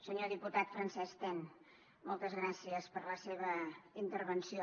senyor diputat francesc ten moltes gràcies per la seva intervenció